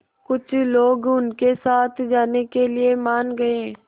कुछ लोग उनके साथ जाने के लिए मान गए